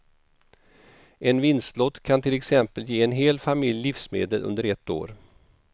En vinstlott kan till exempel ge en hel familj livsmedel under ett år.